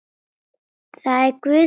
Það er Guð sem ræður.